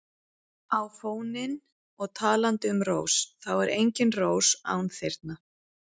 á fóninn og talandi um rós þá er engin rós án þyrna.